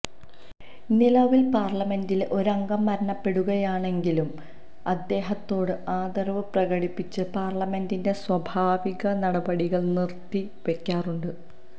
നിലവില് പാര്ലമെന്റിലെ ഒരംഗം മരണപ്പെടുകയാണെങ്കില് അദ്ദേഹത്തോട് ആദരവ് പ്രകടിപ്പിച്ച് പാര്ലമെന്റിന്റെ സ്വാഭാവിക നടപടികള് നിര്ത്തിവെക്കാറുണ്ട്